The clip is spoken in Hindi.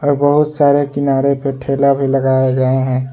और बहुत सारे किनारे पे ठेला भी लगाए गए हैं।